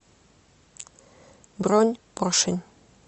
бронь поршень